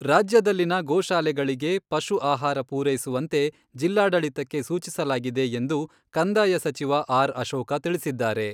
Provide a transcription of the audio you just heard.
ರಾಜ್ಯದಲ್ಲಿನ ಗೋಶಾಲೆಗಳಿಗೆ ಪಶು ಆಹಾರ ಪೂರೈಸುವಂತೆ ಜಿಲ್ಲಾಡಳಿತಕ್ಕೆ ಸೂಚಿಸಲಾಗಿದೆ ಎಂದು ಕಂದಾಯ ಸಚಿವ ಆರ್.ಅಶೋಕ ತಿಳಿಸಿದ್ದಾರೆ.